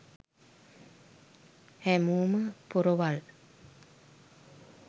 හෑමෝම පොරවල්